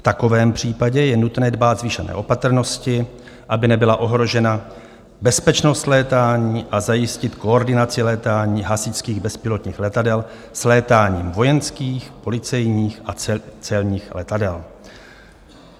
V takovém případě je nutné dbát zvýšené opatrnosti, aby nebyla ohrožena bezpečnost létání, a zajistit koordinaci létání hasičských bezpilotních letadel s létáním vojenských, policejních a celních letadel."